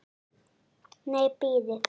Nei, bíðið.